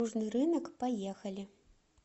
южный рынок поехали